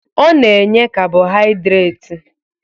Ọ na-enye kabọhaịdreti